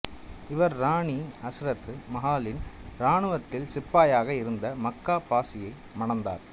இவர் இராணி அசரத் மஹாலின் இராணுவத்தில் சிப்பாயாக இருந்த மக்கா பாசியை மணந்தார்